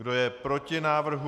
Kdo je proti návrhu?